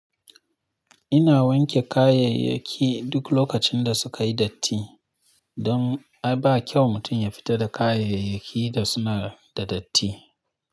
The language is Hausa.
Ina wanke kayayyaki duk lokacin da suka yi datti don ba kyau mutum ya fita da kayayyakin da suna da datti.